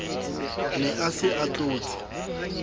ne a se a tlotse